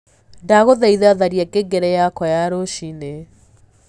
ndagũthaĩtha tharĩa ngengere yakwa ya rucĩĩni